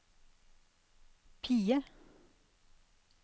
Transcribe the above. PIE